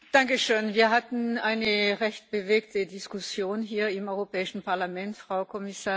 Wir hatten eine recht bewegte Diskussion hier im Europäischen Parlament, Frau Kommissarin.